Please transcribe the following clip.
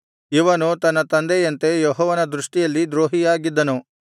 ಇವನು ತನ್ನ ತಂದೆಯಂತೆ ಯೆಹೋವನ ದೃಷ್ಟಿಯಲ್ಲಿ ದ್ರೋಹಿಯಾಗಿದ್ದನು